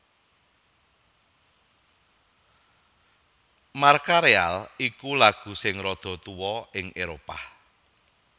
Marcha Real iku lagu sing rada tuwa ing Éropah